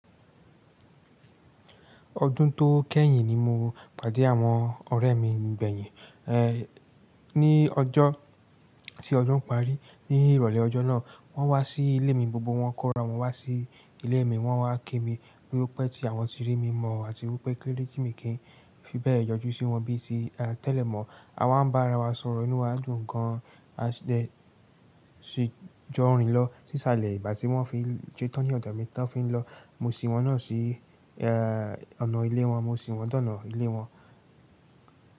Ọdún tó kẹ́yìn ni mo pàdé àwọn ọ̀rẹ́ mi gbeyin, ẹ́, ní ọjọ́ tí ọdún parí. Ní ìrọ̀lẹ́ ọjọ́ náà wọ́n wá sí ilé mi, gbogbo wọn kọ́ra wọn wá sí ilé mi, wọ́n wá ki mi wípé tí àwọn ti rí mi mọ àti wípé kíló dé tí mi kì í fi bẹ́ẹ̀ yọjú sí wọn bíi tí a tẹ̀lé mọ́. A wá ń bá ara wa sọ̀rọ̀ inú wa dùn gan a jọ rìn lọ sí salẹ̀ ìgbà tí wọ́n fi ṣè tan ní ọ̀dọ̀ mi tán fi ń lọ. Mo sì wọn náà sí ẹ́ ọ̀nà ilé wọn, mo sì wọ́n dànà ilé wọn.